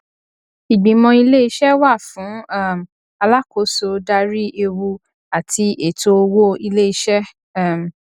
ìgbìmọ iléiṣẹ wà fún um alákòóso darí ewu àti ètò owó iléiṣẹ um